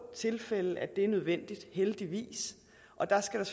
tilfælde at det er nødvendigt heldigvis og der skal der